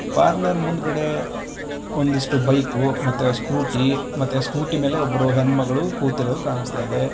Parlour ಮುಂದ್ಗಡೆ ಒಂದಿಷ್ಟು bike ಮತ್ತೆ ಸ್ಕೂಟಿ ಸ್ಕೂಟಿ ಮೇಲೆ ಹೆಣ್ ಮಗಳು ಕೂತಿರೋದು ಕಾಣಿಸ್ತಾ ಇದೆ.